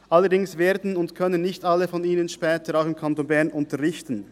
Allerdings können und werden später nicht alle von ihnen auch im Kanton Bern unterrichten.